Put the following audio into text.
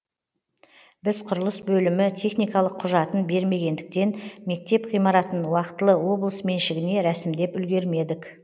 біз құрылыс бөлімі техникалық құжатын бермегендіктен мектеп ғимаратын уақытылы облыс меншігіне рәсімдеп үлгермедік